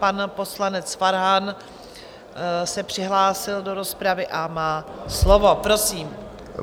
Pan poslanec Farhan se přihlásil do rozpravy a má slovo, prosím.